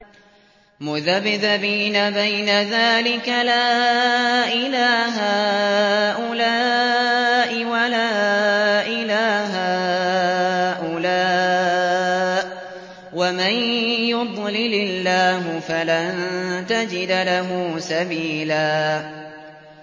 مُّذَبْذَبِينَ بَيْنَ ذَٰلِكَ لَا إِلَىٰ هَٰؤُلَاءِ وَلَا إِلَىٰ هَٰؤُلَاءِ ۚ وَمَن يُضْلِلِ اللَّهُ فَلَن تَجِدَ لَهُ سَبِيلًا